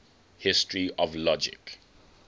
history of logic